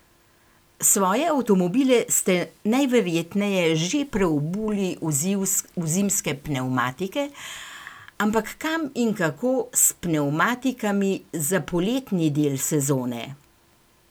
Svoje avtomobile ste najverjetneje že preobuli v zimske pnevmatike, ampak kam in kako s pnevmatikami za poletni del sezone?